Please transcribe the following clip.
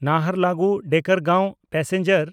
ᱱᱟᱦᱟᱨᱞᱟᱜᱩᱱ–ᱰᱮᱠᱟᱨᱜᱟᱸᱶ passenger